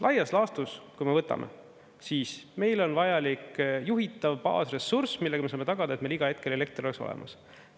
Laias laastus, kui me võtame, siis meil on vajalik juhitav baasressurss, millega me saame tagada, et meil iga hetkel elekter oleks olemas.